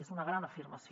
és una gran afirmació